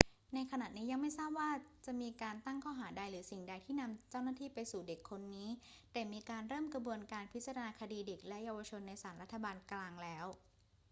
ในขณะนี้ยังไม่ทราบว่าจะมีการตั้งข้อหาใดหรือสิ่งใดที่นำเจ้าหน้าที่ไปสู่เด็กคนนี้ แต่มีการเริ่มกระบวนการพิจารณาคดีเด็กและเยาวชนในศาลรัฐบาลกลางแล้ว